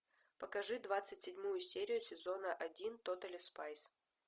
покажи двадцать седьмую серию сезона один тотали спайс